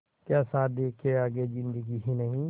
क्या शादी के आगे ज़िन्दगी ही नहीं